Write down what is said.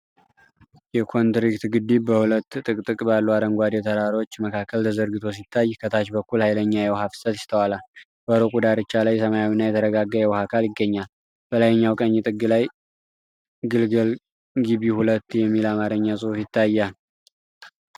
የኮንክሪት ግድብ በሁለት ጥቅጥቅ ባሉ አረንጓዴ ተራሮች መካከል ተዘርግቶ ሲታይ ከታች በኩል ኃይለኛ የውሃ ፍሰት ይስተዋላል። በሩቁ ዳርቻ ላይ ሰማያዊና የተረጋጋ የውሃ አካል ይገኛል። በላይኛው ቀኝ ጥግ ላይ "ግልግል ግበ 2" የሚል የአማርኛ ጽሑፍ ይታያል።